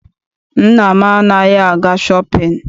Nna m anaghị aga shọpịn.